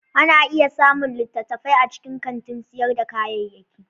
Ana iya samun littattafai a cikin kantin sayar da kayayyaki.